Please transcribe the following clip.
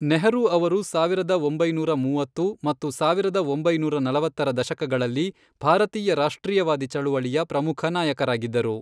ನೆಹರೂ ಅವರು ಸಾವಿರದ ಒಂಬೈನೂರ ಮೂವತ್ತು ಮತ್ತು ಸಾವಿರದ ಒಂಬೈನೂರ ನಲವತ್ತರ ದಶಕಗಳಲ್ಲಿ ಭಾರತೀಯ ರಾಷ್ಟ್ರೀಯವಾದಿ ಚಳವಳಿಯ ಪ್ರಮುಖ ನಾಯಕರಾಗಿದ್ದರು.